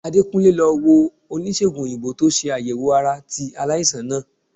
Adekunle lo wo onisegun oyinbo to se ayewo ara ti alaisan naa.